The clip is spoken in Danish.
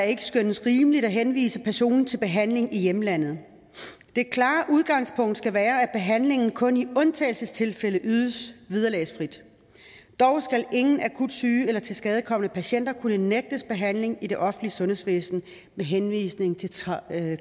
ikke skønnes rimeligt at henvise personen til behandling i hjemlandet det klare udgangspunkt skal være at behandlingen kun i undtagelsestilfælde ydes vederlagsfrit dog skal ingen akut syge eller tilskadekomne patienter kunne nægtes behandling i det offentlige sundhedsvæsen med henvisning til